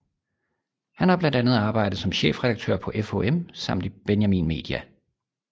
Han har blandt andet arbejdet som chefredaktør på FHM samt i Benjamin Media